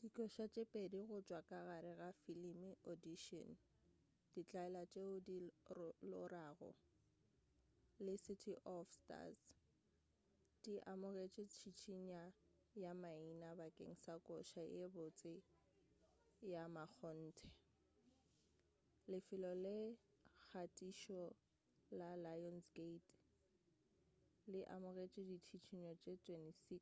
dikoša tše pedi go tšwa ka gare ga filime audition ditlaela tšeo di lorago le city of stars di amogetše tšhišinya ya maina bakeng sa koša ye botse ya mmakgonthe. lefelo la kgathišo la lionsgate le amogetše ditšhišinyo ye 26